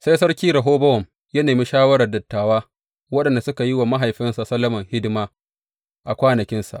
Sai Sarki Rehobowam ya nemi shawarar dattawa waɗanda suka yi wa mahaifinsa Solomon, hidima a kwanakinsa.